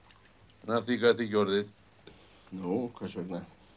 að því gat ekki orðið nú hvers vegna